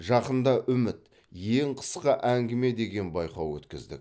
жақында үміт ең қысқа әңгіме деген байқау өткіздік